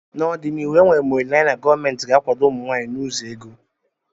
N'ọdịnihu enwere m olileanya na gọọmentị ga-akwado ụmụ nwanyị n'ụzọ ego